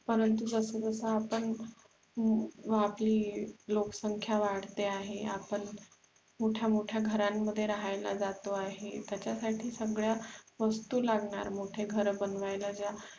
परंतु जस जसे आपण व आपली लोकसंख्या वाढते आहे, आपण मोठ्या मोठ्या घरांमध्ये राहायला जातो आहे त्यासाठी सगळ्या वस्तु लागणार मोठे घर बनवायला